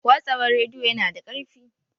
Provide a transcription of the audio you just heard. Watsawar rediyo yana da ƙarfi.